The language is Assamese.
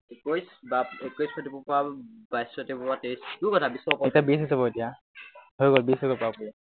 এতিয়া বিশ হৈছে বাৰু এতিয়া। হৈ গল বিশ হৈ গল পূৰাপুৰি